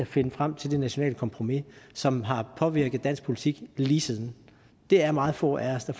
finde frem til det nationale kompromis som har påvirket dansk politik lige siden det er meget få af os der